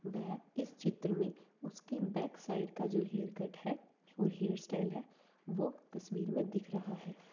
वेह इस चित्र में उसकी बैक साइड का जो हेयर कट है और हेयर स्टाइल है वो तस्वीर में दिख रहा है ।